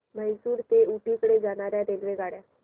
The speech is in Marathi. म्हैसूर ते ऊटी कडे जाणार्या रेल्वेगाड्या